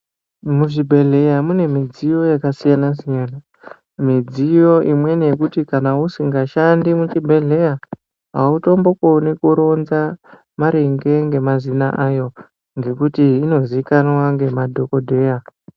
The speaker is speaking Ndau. Mu zvibhedhleya mune midziyo yaka siyana siyana midziyo imweni yekuti kana usinga shandi mu chibhedhleya autombo koni kuronza maringe nge mazina ayo ngekuti ino zikanwa nge madhokodheya.